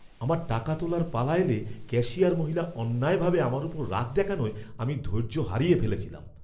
আমার টাকা তোলার পালা এলে ক্যাশিয়ার মহিলা অন্যায়ভাবে আমার ওপর রাগ দেখানোয় আমি ধৈর্য হারিয়ে ফেলেছিলাম।